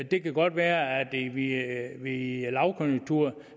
det kan godt være at der i en lavkonjunktur